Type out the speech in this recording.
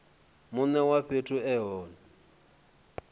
mune wa fhethu e hone